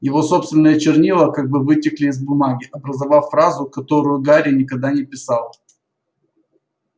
его собственные чернила как бы вытекли из бумаги образовав фразу которую гарри никогда не писал